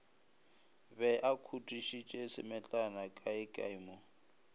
be akhutišitše semetlana kaekae mo